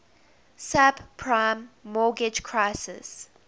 subprime mortgage crisis